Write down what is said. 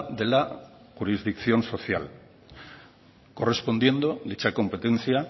de la jurisdicción social correspondiendo dicha competencia